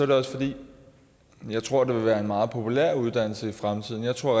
det også fordi jeg tror at det vil være en meget populær uddannelse i fremtiden jeg tror at